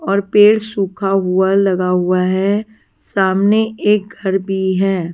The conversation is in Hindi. और पेड़ सूखा हुआ लगा हुआ है सामने एक घर भी है।